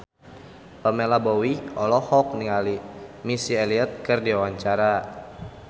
Pamela Bowie olohok ningali Missy Elliott keur diwawancara